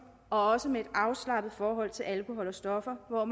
også med et afslappet forhold til alkohol og stoffer hvor